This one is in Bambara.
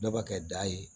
Dɔ bɛ kɛ da ye